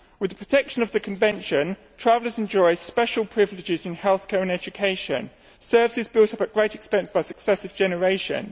With the protection of the convention, travellers enjoy special privileges in health care and education, services built up at great expenses by successive generations.